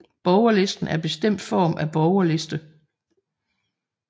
Borgerlisten er bestemt form af borgerliste